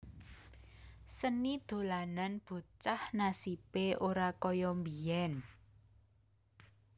Seni dolanan bocah nasibe ora kaya biyen